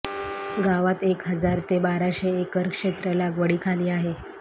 गावात एक हजार ते बाराशे एकर क्षेत्र लागवडीखाली आहे